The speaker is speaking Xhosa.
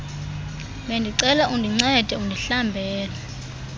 bendicela undincede undihlambele